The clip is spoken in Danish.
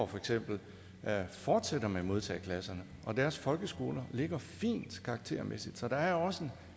for eksempel fortsætter nyborg med modtageklasserne og deres folkeskoler ligger fint karaktermæssigt så der er også